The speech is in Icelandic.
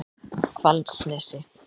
Hvalsnesi